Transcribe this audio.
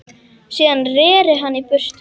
Síðan reri hann í burtu.